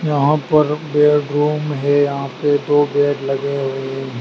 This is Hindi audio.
यहां पर बेडरुम है यहां पे दो बेड लगे हुए--